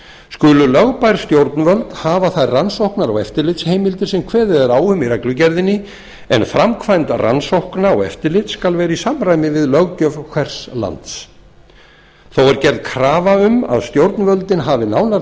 skulu lögbær stjórnvöld hafa þær rannsóknar og eftirlitsheimildir sem kveðið er á um í reglugerðinni en framkvæmd rannsókna og eftirlits skal vera í samræmi við löggjöf hvers lands þó er gerð krafa um að stjórnvöldin hafi nánar